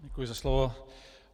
Děkuji za slovo.